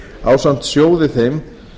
ásamt sjóði þeim